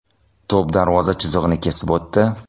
To‘p darvoza chizig‘ini kesib o‘tdi.